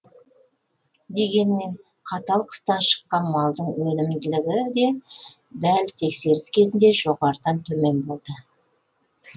дегенмен қатал қыстан шыққан малдың өнімділігі де дәл тексеріс кезінде жоспардағыдан төмен болды